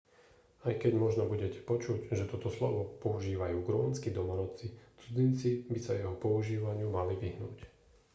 aj keď možno budete počuť že toto slovo používajú grónski domorodci cudzinci by sa jeho používaniu mali vyhnúť